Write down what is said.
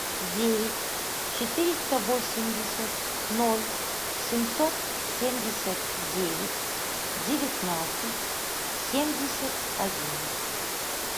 девять четыреста восемьдесят ноль семьсот семьдесят девять девятнадцать семьдесят один